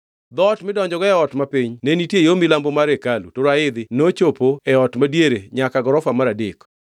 Dhoot midonjogo e ot mapiny ne nitie yo milambo mar hekalu to raidhi nochopo e ot madiere nyaka gorofa mar adek.